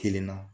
Kelen na